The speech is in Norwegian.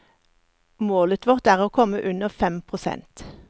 Målet vårt er å komme under fem prosent.